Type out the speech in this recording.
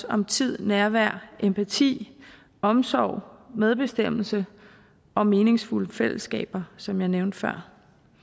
om tid nærvær empati omsorg medbestemmelse og meningsfulde fællesskaber som jeg nævnte før